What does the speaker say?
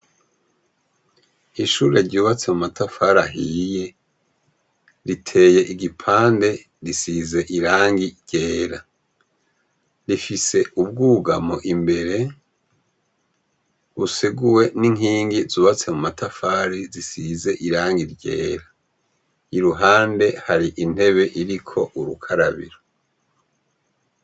Ishure ryubatse mu matafari ahiye, riteye igipande risize irangi ryera, rifise ubwugamo imbere buseguwe n'inkingi zubatse mu matafari zisize irangi ryera, iruhande hari intebe iriko urukarabiro.